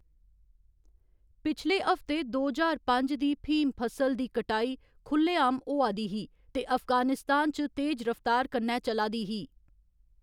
पिछले हफ्ते, दो ज्हार पंज दी फ्हीम फसल दी कटाई खु'ल्ले आम होआ दी ही ते अफगानिस्तान च तेज रफ्तार कन्नै चला दी ही।